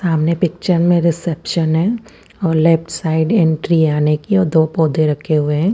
सामने पिक्चर में रिसेप्शन है और लेफ्ट साइड एंट्री है आने की और दो पोधे रखे हुए है।